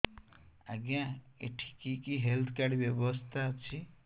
ଆଜ୍ଞା ଏଠି କି କି ହେଲ୍ଥ କାର୍ଡ ବ୍ୟବସ୍ଥା ଅଛି